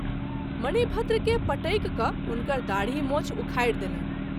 मणिभद्र के पटकि क’ हुनकर दाढ़ी मूँछ उखाड़ि देलनि।